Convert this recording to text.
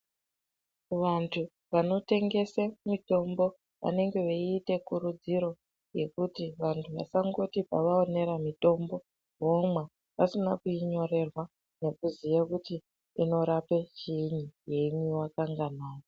Vantu vanotengese mitombo vanenge veiite kutudziro yekuti vantu vasangoti pavaonera mutombo vomwa vasina kuinyorerwa nekuti inorape chiinyi yeimwiwa kanganai.